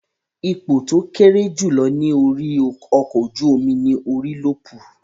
Ipò tó kéré jù ní orí ọkọ̀ ojú-omi ní Orílọ́pù